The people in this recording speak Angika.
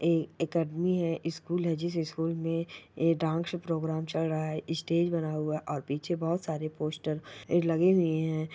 ये एकेडमी है स्कूल है जिस स्कूल में ये डांस प्रोग्राम चल रहा है स्टेज बना हुआ है और पीछे बहुत सारे पोस्टर लगे हुए हैं।